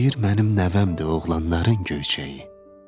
Deyir mənim nəvəm də oğlanların göyçəyi.